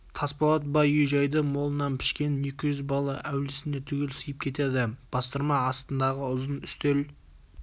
тасболат бай үй-жайды молынан пішкен екі жүз бала әулісіне түгел сыйып кетеді бастырма астындағы ұзын үстел